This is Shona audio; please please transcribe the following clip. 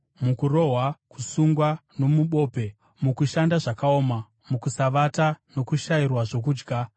mukurohwa, kusungwa nomubope; mukushanda zvakaoma, mukusavata nokushayiwa zvokudya;